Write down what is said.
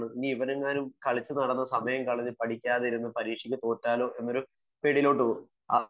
ഇനി ഇവനെങ്ങാനും സമയം കളഞ്ഞു കളിച്ചു നടന്നു പഠിക്കാതെയിരുന്നു പരീക്ഷക്ക് തോറ്റാലോ എന്ന പേടിയിലോട്ട് പോവും